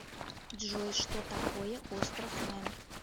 джой что такое остров мэн